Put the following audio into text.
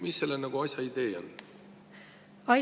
Mis selle asja idee on?